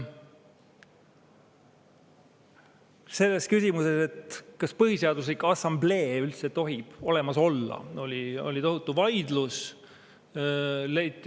Selles küsimuses, kas Põhiseaduse Assamblee üldse tohib olemas olla, oli siis tohutu vaidlus.